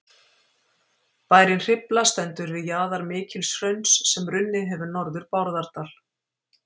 Bærinn Hrifla stendur við jaðar mikils hrauns sem runnið hefur norður Bárðardal.